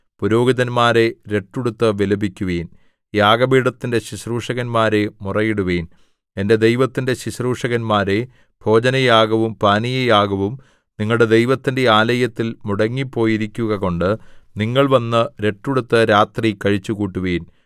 പുരോഹിതന്മാരേ രട്ടുടുത്ത് വിലപിക്കുവിൻ യാഗപീഠത്തിന്റെ ശുശ്രൂഷകന്മാരേ മുറയിടുവിൻ എന്റെ ദൈവത്തിന്റെ ശുശ്രൂഷകന്മാരേ ഭോജനയാഗവും പാനീയയാഗവും നിങ്ങളുടെ ദൈവത്തിന്റെ ആലയത്തിൽ മുടങ്ങിപ്പോയിരിക്കുകകൊണ്ട് നിങ്ങൾ വന്ന് രട്ടുടുത്ത് രാത്രി കഴിച്ചുകൂട്ടുവിൻ